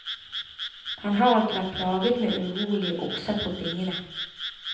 Han har ikke vært plaget med urolige okser på bingene.